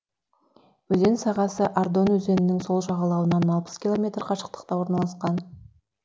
өзен сағасы ардон өзенінің сол жағалауынан алпыс километр қашықтықта орналасқан